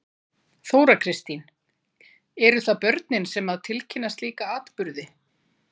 Þóra Kristín: Eru það börnin sem að tilkynna slíka atburði?